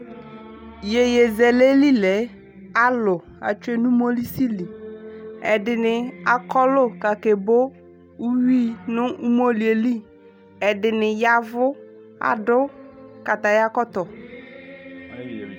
Yeyezɛlɛ li lɛ alu ko atsue no umolisi Ɛdene akɔlu ko ake bo uwii no umolie li Ɛdene yavu , ado kataya kɔtɔ